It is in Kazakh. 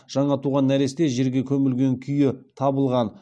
жаңа туған нәресте жерге көмілген күйі табылған